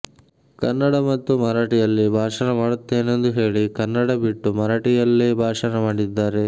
ಕನ್ನಡ ಮತ್ತು ಮರಾಠಿಯಲ್ಲಿ ಭಾಷಣ ಮಾಡುತ್ತೇನೆಂದು ಹೇಳಿ ಕನ್ನಡ ಬಿಟ್ಟು ಮರಾಠಿಯಲ್ಲೇ ಭಾಷಣ ಮಾಡಿದ್ದಾರೆ